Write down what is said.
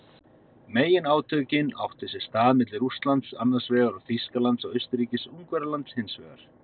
Meginátökin áttu sér stað milli Rússlands annars vegar og Þýskalands og Austurríkis-Ungverjalands hins vegar.